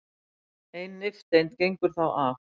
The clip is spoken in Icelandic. ein nifteind gengur þá af